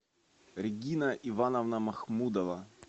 регина ивановна махмудова